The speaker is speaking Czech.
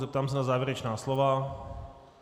Zeptám se na závěrečná slova.